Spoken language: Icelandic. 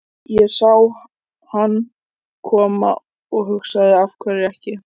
Ég sá hann koma og hugsaði af hverju ekki?